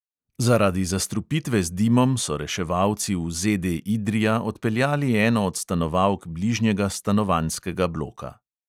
Zaradi zastrupitve z dimom so reševalci v ZD idrija odpeljali eno od stanovalk bližnjega stanovanjskega bloka.